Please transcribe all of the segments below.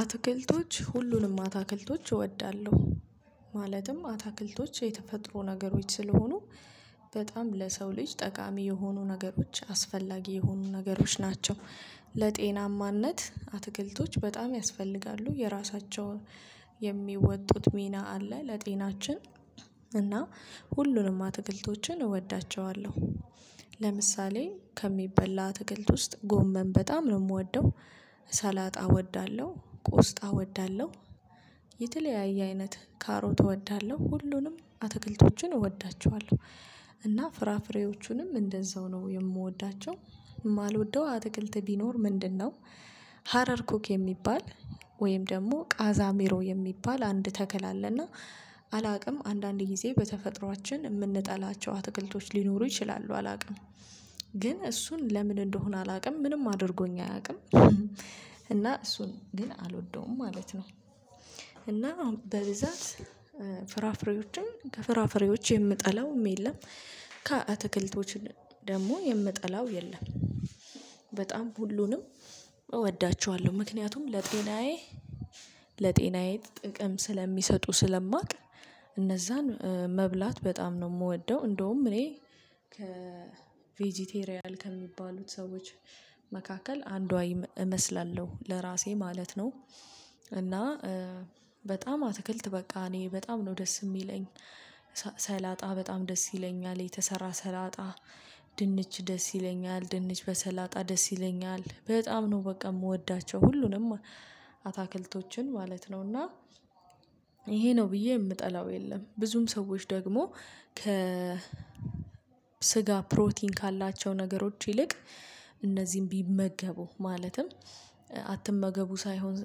አትክልቶች ሁሉንም አትክልቶች እወዳለሁ ማለትም አትክልቶች የተፈጥሮ ነገሮች ስለሆኑ በጣም ለሰው ልጅ ጠቃሚ የሆኑ ነገሮች አስፈላጊ የሆኑ ነገሮች ናቸው። ለጤናማነት አትክልቶች በጣም ያስፈልጋሉ የራሳቸው የሚወጡት ሚና አለ ለጤናችን። እና ሁሉንም አትክልቶችን እወዳቸዋለሁ። ለምሳሌ ከሚበላ አትክልት ውስጥ ጎመም በጣም ነው የምወደው። ሰላጣ እወዳለሁ ቆስጣ እወዳለሁ። የተለያየ አይነት ካሮት እወዳለሁ ሁሉንም አትክልቶቹን እወዳቸዋለሁ። እና ፍራፍሬዎቹንም እንደዛው ነው የምወዳቸው። የማልወደው አትክልት ቢኖር ምንድነው? ሀረር ኩክ የሚባል ወይም ደግሞ ቃዛ ሜሮ የሚባል አንድ ተከል አለና አላውቅም አንዳንድ ጊዜ በተፈጥሮአችን የምንጠላቸው አትክልቶች ሊኖሩ ይችላሉ አላውቅም። ግን እሱን ለምን እንደሆነ አላውቅም ምንም አድርጎኝ አያውቅም። እና እሱን ግን አልወደውም ማለት ነው። እና በብዛት ፍራፍሬዎችን ከፍራፍሬዎች የምጠላው የለም። ከአትክልቶች ደግሞ የምጠላው የለም። በጣም ሁሉንም እወዳቸዋለሁ ምክንያቱም ለጤናዬ ለጤናዬ ጥቅም ስለሚሰጡ ስለማውቅ እነዛን መብላት በጣም ነው የምወደው። እንደውም እኔ ከቬጂቴሪያል ከሚባሉት ሰዎች መካከል አንዷ እመስላለሁ ለራሴ ማለት ነው። እና በጣም አትክልት በቃ እኔ በጣም ነው ደስ የሚለኝ። ሰላጣ በጣም ደስ ይለኛል የተሰራ ሰላጣ። ድንች ደስ ይለኛል ድንች በሰላጣ ደስ ይለኛል በጣም ነው በቃ የምወዳቸው ሁሉንም አታክልቶችን ማለት ነው። እና ይሄ ነው ብዬ የምጠላው የለም። ብዙም ሰዎች ደግሞ ከ ስጋ ፕሮቲን ካላቸው ነገሮች ይልቅ እነዚህም ቢመገቡ ማለትም አትመገቡ ሳይሆን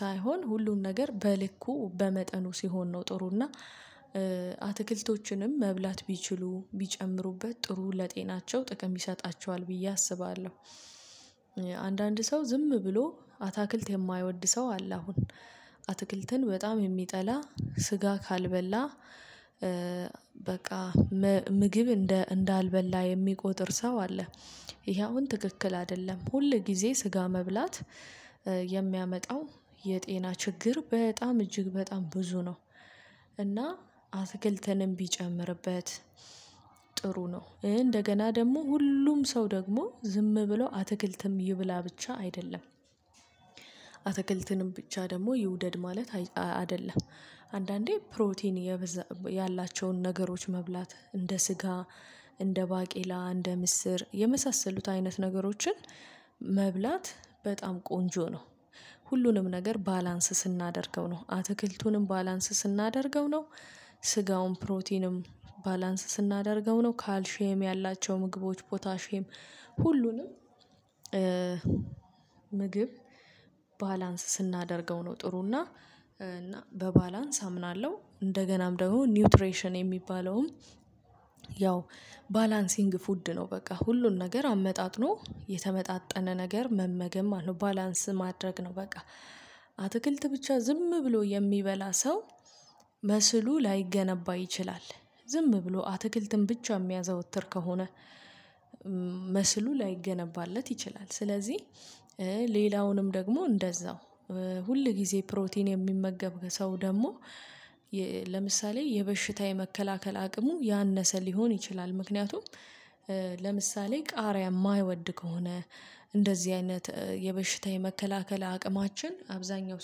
ሳይሆን ሁሉን ነገር በልኩ በመጠኑ ሲሆን ነው ጥሩ እና አትክልቶችንም መብላት ቢችሉ ቢጨምሩበት ጥሩ ለጤናቸው ጥቅም ቢሰጣቸው ብዬ አስባለሁ። አንዳንድ ሰው ዝም ብሎ አትክልት የማይወድ ሰው አለ። አሁን አትክልትን በጣም የሚጠላ ስጋ ካልበላ። በቃ ምግብ እንዳልበላ የሚቆጥር ሰው አለ። ይሄ አሁን ትክክል አይደለም ሁል ጊዜ ስጋ መብላት የሚያመጣው የጤና ችግር በጣም እጅግ በጣም ብዙ ነው። እና አትክልትንም ቢጨምርበት ጥሩ ነው እንደገና ደግሞ ሁሉም ሰው ደግሞ ዝም ብለው አትክልትም ይብላ ብቻ አይደለም። አትክልትንም ብቻ ደግሞ ይውደድ ማለት አይደለም። አንዳንዴ ፕሮቲን ያላቸውን ነገሮች መብላት እንደ ስጋ እንደ ባቄላ እንደ ምስር የመሳሰሉት አይነት ነገሮችን መብላት በጣም ቆንጆ ነው። ሁሉንም ነገር ባላንስ ስናደርገው ነው አትክልቱንም ባላንስ ስናደርገው ነው። ስጋውን ፕሮቲንም ባላንስ ስናደርገው ነው ካልሼም ያላቸው ምግቦች ፖታሼም ሁሉንም ምግብ ባላንስ ስናደርገው ነው። ጥሩ እና እና በባላንስ አምናለሁ። እንደገናም ደግሞ ኒውትሬሽን የሚባለውም ያው ባላንሲንግ ፉድ ነው በቃ ሁሉን ነገር አመጣጥኖ የተመጣጠነ ነገር መመገም ነው ባላንስ ማድረግ ነው። በቃ አትክልት ብቻ ዝም ብሎ የሚበላ ሰው። መስሉ ላይገነባ ይችላል ዝም ብሎ አትክልትን ብቻ የሚያዘወትር ከሆነ መስሉ ላይገነባለት ይችላል። ስለዚህ ሌላውንም ደግሞ እንደዛው ሁል ጊዜ ፕሮቲን የሚመገብ ሰው ደግሞ ለምሳሌ የበሽታ የመከላከል አቅሙ ያነሰ ሊሆን ይችላል። ምክንያቱም ለምሳሌ ቃሪያ የማይወድ ከሆነ እንደዚህ አይነት የበሽታ የመከላከል አቅማችን አብዛኛው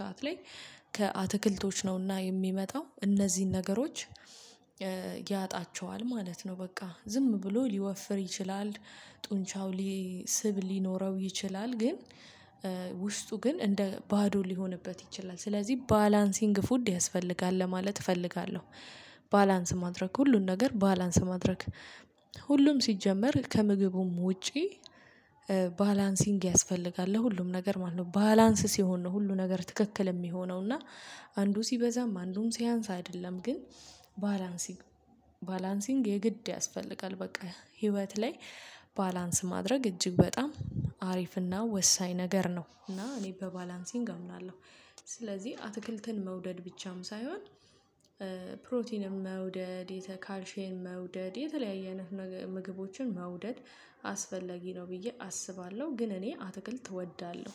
ሰዓት ላይ ከአትክልቶች ነውና የሚመጣው እነዚህን ነገሮች ያጣቸዋል ማለት ነው። በቃ ዝም ብሎ ሊወፍር ይችላል ጡንቻው ሊ ስብ ሊኖረው ይችላል። ግን ውስጡ ግን እንደ ባዶ ሊሆንበት ይችላል ስለዚህ ባላንሲንግ ፉድ ያስፈልጋል ለማለት እፈልጋለሁ። ባላንስ ማድረግ ሁሉን ነገር ባላንስ ማድረግ ሁሉም ሲጀመር ከምግቡም ውጪ ባላንሲንግ ያስፈልጋል ለሁሉም ነገር ማለት ነው። ባላንስ ሲሆን ነው ሁሉ ነገር ትክክል የሚሆነው እና አንዱ ሲበዛ ማንም ሲያንስ አይደለም። ግን ባላንሲንግ የግድ ያስፈልጋል። በቃ ህይወት ላይ ባላንስ ማድረግ እጅግ በጣም አሪፍና ወሳኝ ነገር ነው። እና እኔ በባላንሲንግ አምናለሁ። ስለዚህ አትክልትን መውደድ ብቻም ሳይሆን ፕሮቲንም መውደድ የተ ካልሼን መውደድ የተለያየን ምግቦችን መውደድ አስፈለጊ ነው ብዬ አስባለሁ። ግን እኔ አትክልት እወዳለሁ።